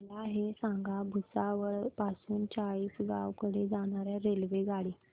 मला हे सांगा भुसावळ पासून चाळीसगाव कडे जाणार्या रेल्वेगाडी